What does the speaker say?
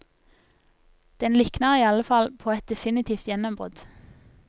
Den likner i alle fall på et definitivt gjennombrudd.